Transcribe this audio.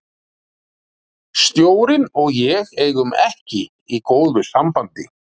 Stjórinn og ég eigum ekki í góðu sambandi.